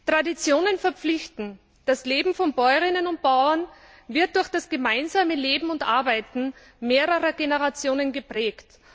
Traditionen verpflichten. Das Leben von Bäuerinnen und Bauern wird durch das gemeinsame Leben und Arbeiten mehrerer Generationen geprägt.